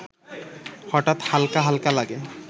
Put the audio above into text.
হঠাৎ হালকা হালকা লাগে